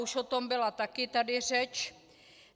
Už o tom také byla tady řeč.